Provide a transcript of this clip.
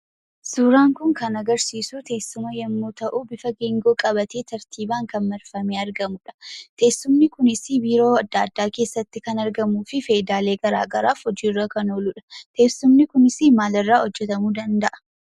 Suuraan kun kan agarsiisuu teesuma yemmuu ta'uu bifoota geengoo qabatee tartiibaan kan argamudha. Teessumni kunisii biiroo adda addaa keessatti kan argamuufi fayidaalee garagaraaf hojiirra kan ooluudha. teessumni kunis maalirraa hojjatamuu danda'a?